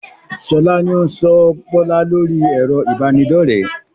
Sọlá ni ó n sọ Bọlá lórí ẹ̀rọ ibanidọ̀rẹ́